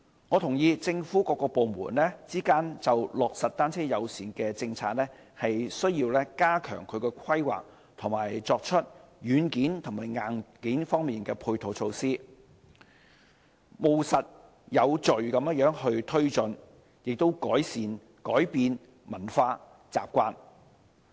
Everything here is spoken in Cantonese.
我認同政府各部門之間就落實單車友善政策需要加強規劃，以及作出軟件和硬件方面的配套措施，務實有序地推進，以及改變文化習慣。